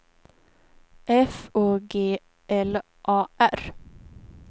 F Å G L A R